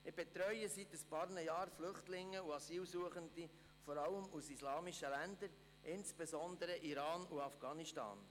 Seit ein paar Jahren betreue ich Flüchtlinge und Asylsuchende vor allem aus islamischen Ländern, insbesondere aus Iran und Afghanistan.